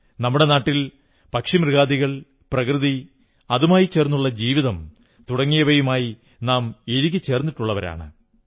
നമ്മുടെ നാട്ടിൽ പക്ഷി മൃഗാദികൾ പ്രകൃതി അതുമായി ചേർന്നുള്ള ജീവിതം തുടങ്ങിയവയുമായി നാം ഇഴുകി ചേർന്നിട്ടുള്ളവരാണ്